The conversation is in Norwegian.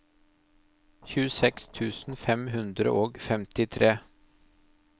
tjueseks tusen fem hundre og femtitre